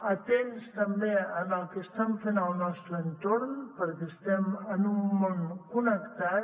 atents també en el que estan fent al nostre entorn perquè estem en un món connectat